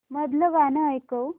मधलं गाणं ऐकव